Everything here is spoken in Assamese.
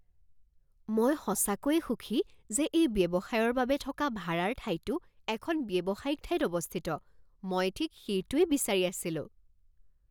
মই সঁচাকৈয়ে সুখী যে এই ব্যৱসায়ৰ বাবে থকা ভাৰাৰ ঠাইটো এখন ব্যৱসায়িক ঠাইত অৱস্থিত। মই ঠিক সেইটোৱেই বিচাৰি আছিলো।